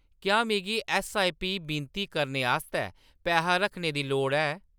क्या मिगी ऐस्सआईपी विनती करने आस्तै पैहा रखने दी लोड़ ऐ ?